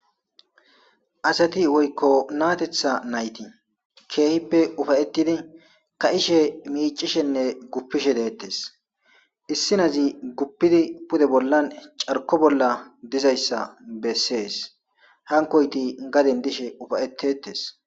Asati woykko naatetha nayti keehippe ufayetidi ka7ishe miicishenne guppishe deettes issinazi guppidi pude bollan carko bolla dizayssa bessees hankoyti gaden dishe ufayetetes.